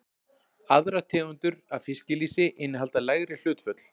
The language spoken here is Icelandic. Aðrar tegundir af fiskilýsi innihalda lægri hlutföll.